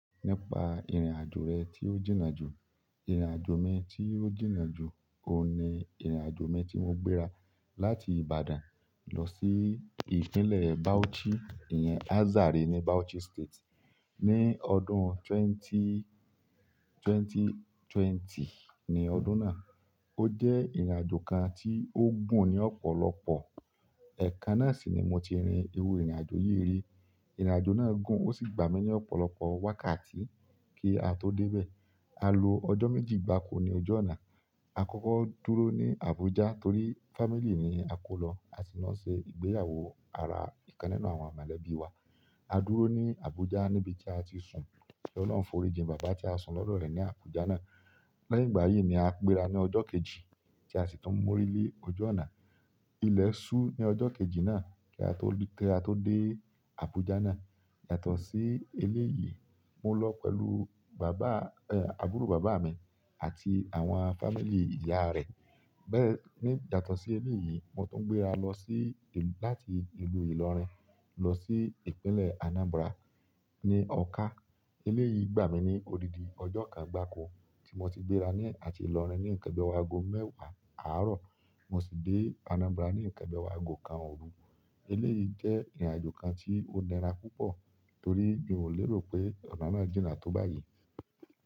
Nípa ìrìnàjò rẹ tí ó jìnnà jù, ìrìnàjò mi tí ó jìnnà jù, òun ni ìrìnàjò mi tí mo gbéra láti Ìbàdàn lọ sí ìpínlẹ̀ Bauchi, ìyẹn Azare ní Bauchi State ní ọdún twenty-- twenty twenty ni ọdún náà. Ó jẹ́ ìrìnàjò kan tí ó gùn ní ọ̀pọ̀lọpọ̀. Eekan na si ni moti rin iru irin ajo yi ri. Ìrìnàjò náà gùn, ó sì gbà mí ní ọ̀pọ̀lọpọ̀ wákàtí kí a tó dé ibẹ̀. A lo ọjọ́ méjì gbáko ní ojú ọ̀nà. A kọ́kọ́ dúró ní Abuja torí family ni a kó lọ, a sì lọ n ṣe ìgbéyàwó ara ìkan nínú àwọn màlèbí wa. A dúró ní Abuja níbi tí a ti sùn. Ki oloun forijin baba ti a sun lodo re ni Abuja na. Lẹ́yìn ìgbà yìí ni a gbéra ní ọjọ́ kejì tí a sì tún mórí lé ojú ọ̀nà. Ilẹ̀ ṣú ní ọjọ́ kejì náà kí a tó dé Abuja náà. Yàtọ̀ sí eléyìí, mo lọ pẹ̀lú bàbá, ẹ, àbúrò bàbá mi àti àwọn family ìyá rẹ̀. Bẹ́ẹ̀ ni yàtọ̀ sí eléyìí, mo tún gbéra lọ sí ìlú-- láti ìlú Ìlọrin lọ sí ìpínlẹ̀ Anambra ní Ọ̀ka. Eléyìí gbà mí ní odidi ọjọ́ kan gbáko tí mo ti gbéra ní àti Ìlọrin ní nǹkan bi owo agò mẹ́wàá àárọ̀, mo sì dé Anambra ní nǹkan bi owo ago kan òru. Eléyìí jẹ́ ìrìnàjò kan tí ó nira púpọ̀ torí mi ò lérò pé ọ̀nà náà jìnnà tó báyìí.